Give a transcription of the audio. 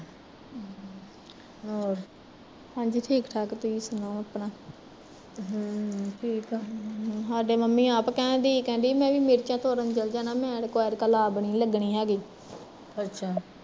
ਹਾਂਜੀ ਠੀਕ ਠਾਕ ਤੁਸੀਂ ਸੁਣਾਓ ਸਾਡੇ ਮੰਮੀ ਆਪ ਕਹਿਣ ਡਈ ਸੀ, ਕਹਿੰਦੀ ਮੈਂ ਵੀ ਮਿਰਚਾਂ ਤੋੜਨ ਚੱਲ ਜਾਣਾ ਮੈਨੀ ਨੀ ਲੱਗਣੀ ਹੈਗੀ